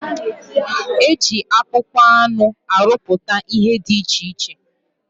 Eji akpụkpọ anụ arụpụta ihe dị iche iche.